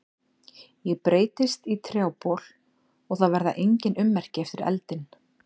Ég breytist í trjábol og það verða engin ummerki eftir eldinn.